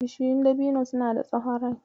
Bishiyun dabino suna da tsahon rai.